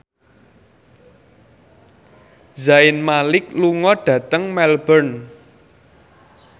Zayn Malik lunga dhateng Melbourne